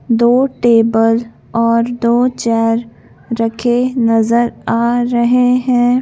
दो टेबल और दो चेयर रखे नज़र आ रहे हैं।